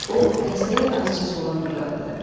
O dəstəyi azca sola fırlatdı.